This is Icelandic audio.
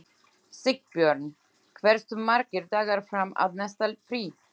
Sigbjörn, hversu margir dagar fram að næsta fríi?